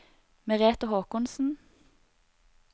Merete Håkonsen